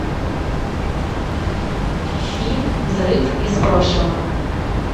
фильм взрыв из прошлого